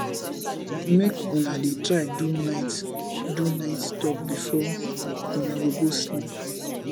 mek una dey try do nite do nite tok bifor una go go sleep